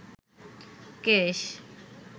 কেশ